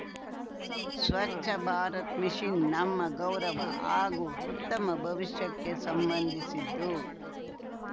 ಸ್ವಚ್ಛ ಭಾರತ್ ಮಿಷಿನ್‌ ನಮ್ಮ ಗೌರವ ಹಾಗೂ ಉತ್ತಮ ಭವಿಷ್ಯಕ್ಕೆ ಸಂಬಂಧಿಸಿದ್ದು